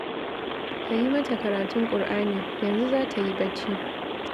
Ka yi mata karatun Ƙur'ani, yanzu za ta yi bacci